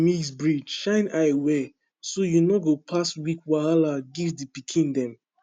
mix breed shine eye well so you no go pass weak wahala give the pikin dem